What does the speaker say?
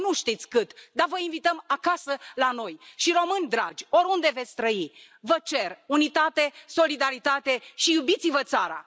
Poate nu știți cât, dar vă invităm acasă la noi și români dragi, oriunde veți trăi, vă cer unitate, solidaritate și iubiți vă țara.